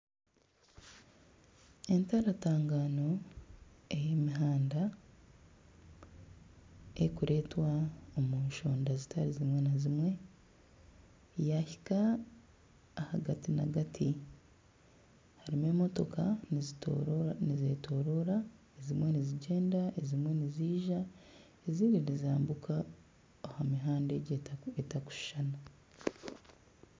Entangatagano ey'emihanda erikureetwa omusharo zitarizimwe na zimwe yahika ahagati nagati harimu emotoka nizetoroora nizigyenda ezimwe niziiza ezindi nizambuka aha mihanda egi etarikushushana .